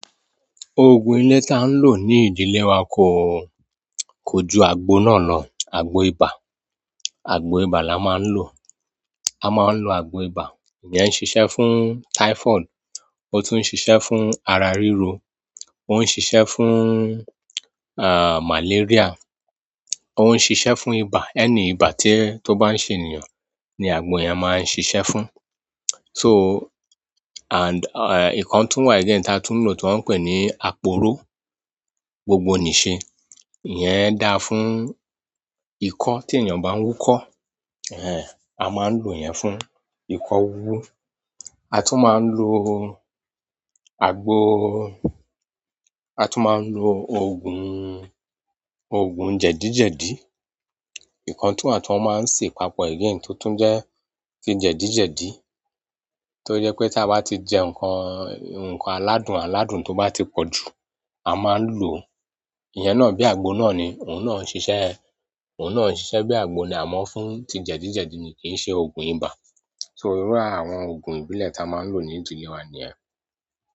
Òògùn ilé tá ń lò ní ìdílé wa kò, kò ju àgbo náà lọ, àgbo ibà. Àgbo ibà la máa ń lò. A máa ń lò àgbo ibà, ìyẹn ń ṣiṣẹ́ fún typhoid, ó tún ń ṣiṣẹ́ fún ara ríro, ó ń ṣiṣẹ́ fún, àh, malaria, ó ń ṣiṣẹ́ fún ibà. Any ibà tí ó bá ń ṣe ènìyàn ni àgbo yẹn máa ń ṣiṣẹ́ fún. So, and, ehn, ikan tún wà again tá tún lò tó ń pè ní àpòró, gbogbonìse. Iyẹn da fún ikọ́ tí ènìyàn bá ń wúkọ́, ẹẹ́, a máa ń lò iyẹn fún ikọ́ wúwú. A tún máa ń lò àgbo, a tún máa ń lò òògùn, òògùn jẹ̀díjẹ̀dí. Nǹkan tún wà tí wọ́n máa ń ṣe papọ̀ again tó tún jẹ́ ti jẹ̀díjẹ̀dí, tó jẹ́ pé tí a bá ti jẹ nǹkan, nǹkan aládùn, aládùn tó bá ti pọ̀ jù, a máa ń lò. Iyẹn náà bí àgbo náà ni, òun náà ń ṣiṣẹ́, òun náà ń ṣiṣẹ́ bí àgbo ni a mọ̀ fún ti jẹ̀díjẹ̀dí ni kì í ṣe òògùn ibà. So irú àwọn òògùn ìbílẹ̀ ta máa ń lò ní ìdílé wa nìyẹn.